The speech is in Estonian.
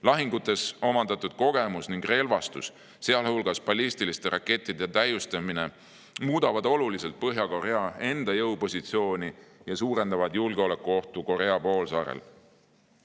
Lahingutes omandatud kogemus ning relvastuse, sealhulgas ballistiliste rakettide täiustamine muudavad oluliselt Põhja-Korea enda jõupositsiooni ja suurendavad julgeolekuohtu Korea poolsaarel.